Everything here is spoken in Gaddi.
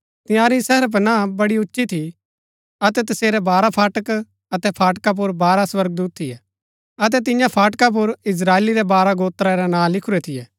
तंयारी शहरपनाह बड़ी उच्ची थी अतै तसेरै बारह फाटक अतै फाटका पुर बारह स्वर्गदूत थियै अतै तियां फाटका पुर इस्त्राएली रै बारह गोत्रा रै नां लिखुरै थियै